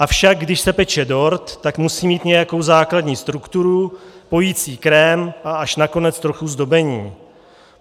Avšak když se peče dort, tak musí mít nějakou základní strukturu, pojicí krém a až nakonec trochu zdobení.